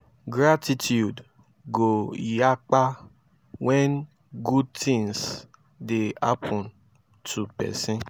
gratitude go yakpa wen gud tins dey hapun to pesin